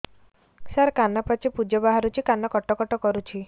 ସାର କାନ ପାଚି ପୂଜ ବାହାରୁଛି କାନ କଟ କଟ କରୁଛି